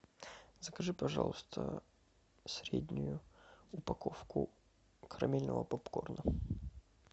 закажи пожалуйста среднюю упаковку карамельного попкорна